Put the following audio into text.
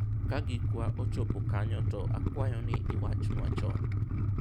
ka gikwa ochopo kanyo to akwayo ni iwachnwa chon